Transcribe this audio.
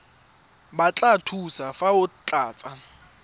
batla thuso fa o tlatsa